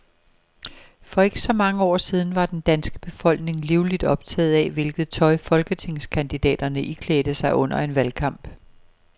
For ikke så mange år siden var den danske befolkning livligt optaget af, hvilket tøj folketingskandidaterne iklædte sig under en valgkamp.